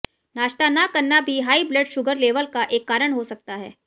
नाश्ता न करना भी हाई ब्लड शुगर लेवल का एक कारण हो सकता है